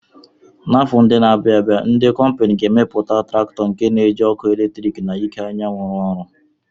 N'afọ ndị na-abịa, ndị kọmpini ga-emepụta traktọ nke ga-eji ọkụ eletrik na iké anyanwụ ruọ ọrụ